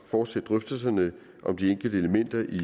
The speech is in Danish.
fortsætte drøftelserne om de enkelte elementer i